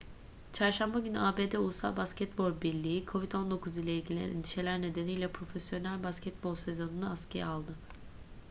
çarşamba günü abd ulusal basketbol birliği nba covid-19 ile ilgili endişeler nedeniyle profesyonel basketbol sezonunu askıya aldı